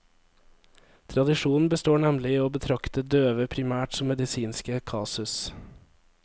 Tradisjonen består nemlig i å betrakte døve primært som medisinske kasus.